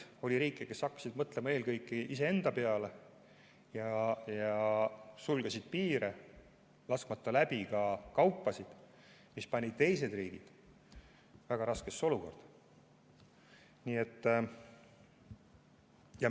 Oli riike, kes hakkasid mõtlema eelkõige iseenda peale ja sulgesid piire, laskmata läbi ka kaupasid, mis pani teised riigid väga raskesse olukorda.